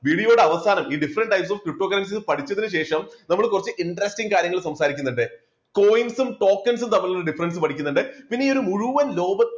video യുടെ അവസാനം ഈ different types of cryptocurrency പഠിച്ചതിനു ശേഷം നമ്മൾ കുറച്ച് interesting കാര്യങ്ങൾ സംസാരിക്കുന്നുണ്ട്. coin സും token സും തമ്മിലുള്ള difference പഠിക്കുന്നുണ്ട്, പിന്നെ ഈ മുഴുവൻ ലോക